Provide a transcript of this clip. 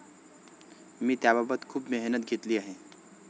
मी त्याबाबत खूप मेहनत घेतली आहे.